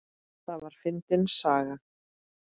Það var fyndin saga.